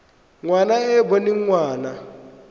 ngwana e e boneng ngwana